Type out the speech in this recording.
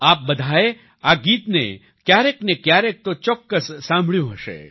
આપ બધાએ આ ગીતને ક્યારેક ને ક્યારેક તો ચોક્કસ સાંભળ્યું હશે